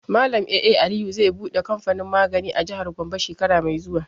Malam A.A Aliyu zai buɗe kamfanin magani a jihar Gombe shekara mai zuwa.